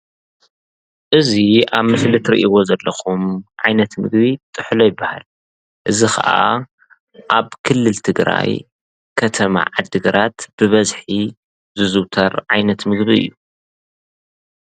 እዚ ኣብ ምስሊ እትርእይዎ ዘለኩም ዓይነት ምግቢ ጥሕሎ ይብሃል፤ እዚ ከዓ ኣብ ክልል ትግራይ ከተማ ዓዲግራት ብበዝሒ ዝዝዉተር ዓይነት ምግቢ እዩ።